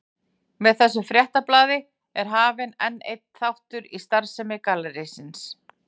Með þessu fréttabréfi er hafinn enn einn þáttur í starfsemi gallerísins.